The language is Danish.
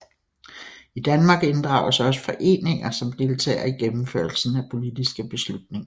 I Danmark inddrages også foreninger som deltagere i gennemførelsen af politiske beslutninger